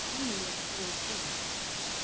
Hinn lét ég eiga sig.